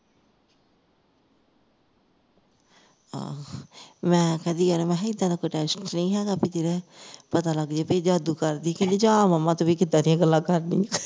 ਆਹੋ ਮੈਂ ਕਿਹਾ ਏਦਾਂ ਦਾ ਕੋਈ test ਨਹੀਂ ਹੈਗਾ ਬਈ ਜੀਹਦੇ ਪਤਾ ਲਗ ਜਾਵੇ ਬਈ ਜਾਦੂ ਕਰਦੀ ਕੇ ਨਹੀਂ ਜਾਂ momma ਤੂੰ ਵੀ ਕਿੱਦਾਂ ਦੀਆਂ ਗੱਲਾਂ ਕਰਦੀਆਂ